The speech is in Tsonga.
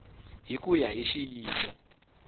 hi ku ya hi xiyimo